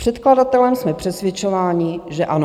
Předkladatelem jsme přesvědčováni, že ano.